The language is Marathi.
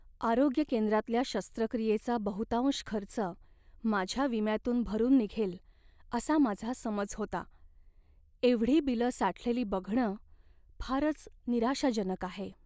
आरोग्य केंद्रातल्या शस्त्रक्रियेचा बहुतांश खर्च माझ्या विम्यातून भरून निघेल असा माझा समज होता. एवढी बिलं साठलेली बघणं फारच निराशाजनक आहे.